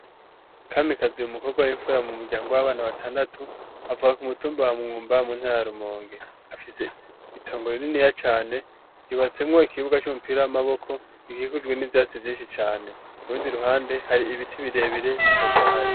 Kamikazi umukobwa w'imfura mu muryango w'abana batandatu, avuka ku mutumba wa vyumba mu ntara ya Rumonge. Afise itongoro rininiya cane, yubatsemwo ikibuga c'umupira w'amaboko gikikujwe n'ivyatsi vyinshi cane. Ku rundi ruhande hari ibiti birebire bitotahaye.